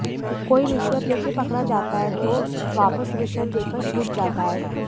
कोई रिश्वत लेते पकड़ा जाता है तो वापस रिश्वत देकर छूट जाता है